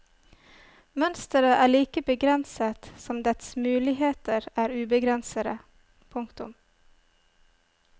Mønstret er like begrenset som dets muligheter er ubegrensede. punktum